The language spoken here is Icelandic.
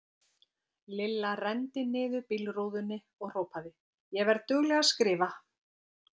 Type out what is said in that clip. Lilla renndi niður bílrúðunni og hrópaði: Ég verð dugleg að skrifa!!